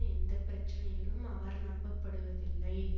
எந்த பிரச்சினையிலும் அவர் நம்பப்படுவதில்லை